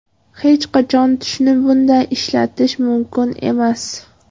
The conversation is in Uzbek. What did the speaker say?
Hech qachon tushni bunday ishlatish mumkin emas.